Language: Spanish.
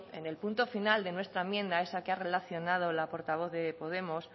en el punto final de nuestra enmienda esa que ha relacionado la portavoz de podemos